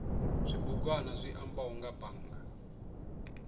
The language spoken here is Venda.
zwibugwana zwi ambaho nga bannga